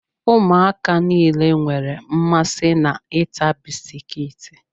Ụmụaka nile nwere mmasị na ịta bisikiiti